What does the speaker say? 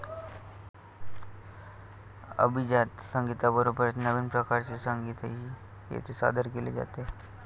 अभिजात संगीताबरोबरच नवीन प्रकारचे संगीतही येथे सादर केले जाते.